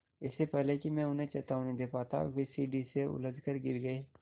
इससे पहले कि मैं उन्हें चेतावनी दे पाता वे सीढ़ी से उलझकर गिर गए